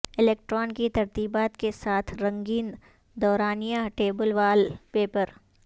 electron کی ترتیبات کے ساتھ رنگین دورانیہ ٹیبل وال پیپر